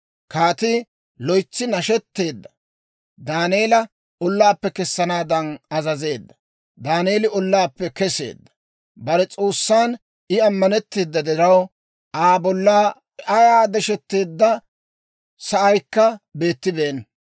Kaatii loytsi nashetteedda; Daaneela ollaappe kessanaadan azazeedda. Daaneeli ollaappe keseedda; bare S'oossan I ammanetteeda diraw, Aa bollan ayaa desheteedda sa'aykka beettibeenna.